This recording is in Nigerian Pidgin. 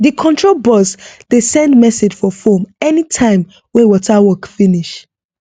the control box dey send message for phone anytime wey water work finish